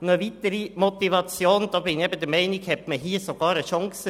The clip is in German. Eine weitere Motivation: Meines Erachtens hat man hier sogar eine Chance.